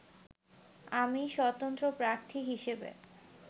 আমি স্বতন্ত্র প্রার্থী হিসেবে